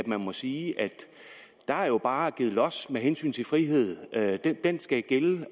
man må sige at der jo bare givet los med hensyn til friheden den skal gælde